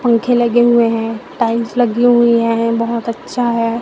पंखे लगे हुए हैं टाइल्स लगी हुई हैं बहोत अच्छा है।